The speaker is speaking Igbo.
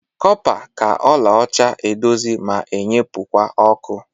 Kọpa ka ọla ọcha eduzi ma enyepụkwa ọkụ.